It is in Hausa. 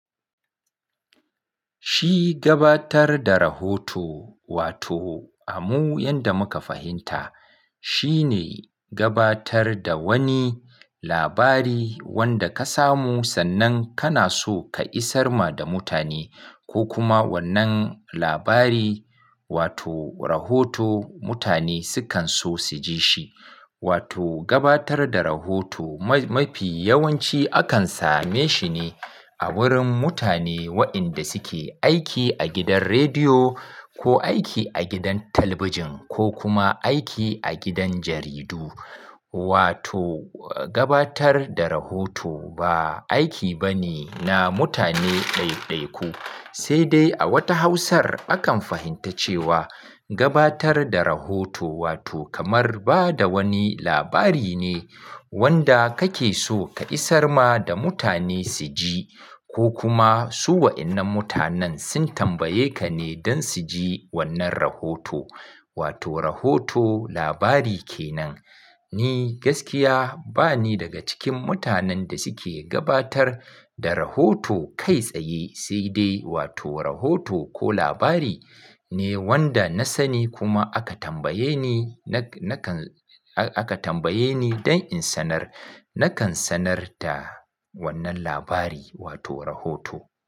Shi gabatar da rahoto wato, a mu yanda muka fahimta shine gabatar da wani labari wanda ka samu sannan kana so ka isar ma da mutane ko kuma wannan labari wato, rahoto mutane sukan so su ji shi. Wato, gabatar da rahoto mafi yawanci akan same shi ne a wurin mutane waɗanda suke aiki a gidan rediyo ko aiki a gidan talabijin ko kuma aiki a gidan jaridu. Wato, gabatar da rahoto ba aiki bane na mutane ɗaiɗaiku. Sai dai a wata hausar akan fahimta cewa gabatar da rahoto wato, kamar ba da wani labari ne wanda kake so ka isar ma da mutane su ji ko kuma su waɗannan mutanen sun tambaye ka ne don su ji wannan rahoto. Wato, rahoto labari ke nan. Ni gaskiya bani daga cikin mutanen da suke gabatar da rahoto kai tsaye sai dai wato, rahoto ko labari ne wanda na sani kuma aka tambaye ni, nakan, aka tambaye ni don in sanar. Nakan sanar da wannan labari wato, rahoto.